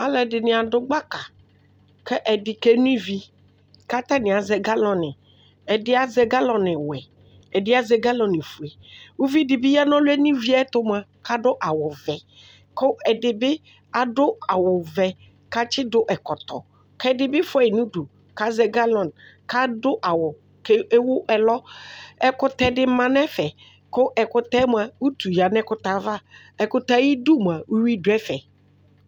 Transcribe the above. Alʋ ɛdini adʋ gbaka kʋ ɛdi keno ivi kʋ atani azɛ galɔni ɛdi azɛ galɔniwɛ ɛdi azɛ galɔni fue ʋvidi bi yanʋ ɔlʋyɛ no ivi yɛtʋ mʋa kʋ adʋ awʋvɛ kʋ ɛdini atsidʋ awʋvɛ kʋ atsidʋ ɛkɔtɔ kʋ ɛdibi fʋayi nʋ ʋdʋ kʋ azɛ galɔn kʋ adʋ awʋ kʋ ewʋ ɛlɔ ɛkʋtɛdi manʋ ɛfɛ kʋ ɛkʋtɛ mʋ ʋtu yanʋ ɛkʋtɛ ava ɛkʋtɛ ayu idʋ mʋa uwi dʋ ɛfɛ